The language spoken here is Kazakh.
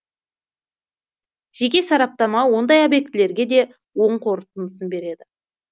жеке сараптама ондай объектілерге де оң қорытындысын береді